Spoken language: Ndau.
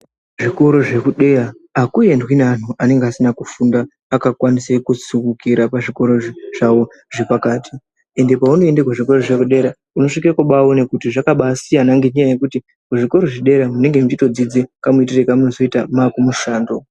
Zvikora zvekudera akuendwi nevantu anenge asina kufunda akakwanise kusumukira pazvikora zvawo zvepakati ende paunoende kuzvikora zvepadera unosvike kubaona kuti zvakabasiyana ngenyaya yekuti kuzvikora zvedera munenge meitodzidza kamuitire kamonozoita makumushando.